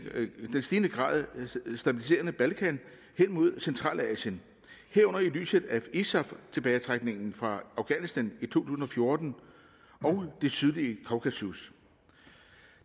grad stabiliserede balkan hen mod centralasien herunder i lyset af isaf tilbagetrækningen fra afghanistan i to tusind og fjorten og det sydlige kaukasus